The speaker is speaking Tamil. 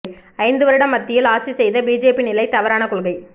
ஐந்து வருடம் மத்தியில் ஆட்சி செய்த பிஜேபி நிலை தவறான கொள்கை